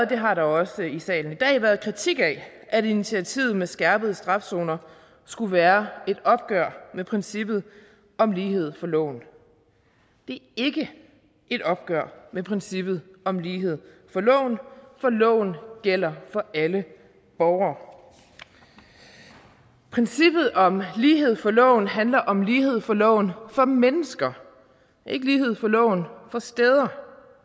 det har der også i salen i dag været kritik af at initiativet med skærpet straf zoner skulle være et opgør med princippet om lighed for loven det er ikke et opgør med princippet om lighed for loven for loven gælder for alle borgere princippet om lighed for loven handler om lighed for loven for mennesker ikke lighed for loven for steder